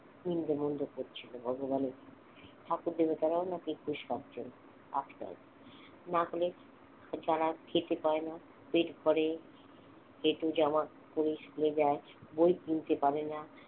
নিন্দামন্দ করছিল ভগবানের ঠাকুর-দেবতারাও নাকি না হলে যারা খেতে পায় না পেট ভরে এটো জামা পড়েই school যায় বই কিনতে পারেনা